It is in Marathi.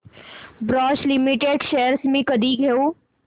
बॉश लिमिटेड शेअर्स मी कधी घेऊ